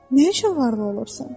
Nə üçün varlı olursan?